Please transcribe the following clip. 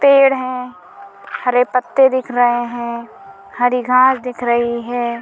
पेड़ हैं हरे पत्ते दिख रहे हैं हरी घास दिख रही है।